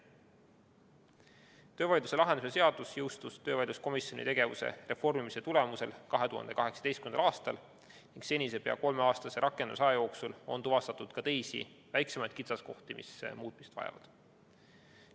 Töövaidluse lahendamise seadus jõustus töövaidluskomisjoni tegevuse reformimise tulemusel 2018. aastal ning senise pea kolmeaastase rakendusaja jooksul on tuvastatud ka teisi, väiksemaid kitsaskohti, mis kõrvaldamist vajavad.